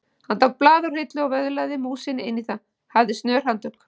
Hann tók blað úr hillu og vöðlaði músinni inn í það, hafði snör handtök.